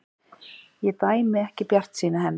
Ég dæmi ekki bjartsýni hennar.